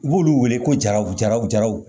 U b'olu wele ko jaraw jara jaw